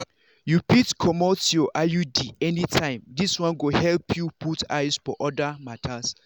you fit comot your iud anytime this one go help you put eyes for other matters.